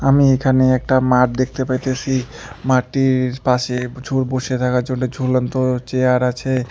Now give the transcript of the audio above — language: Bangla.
আমি এখানে একটা মাঠ দেখতে পাইতেসি মাঠটির পাশে ঝু বসে থাকার জন্য ঝুলন্ত চেয়ার আছে।